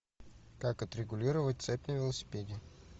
как отрегулировать цепь на велосипеде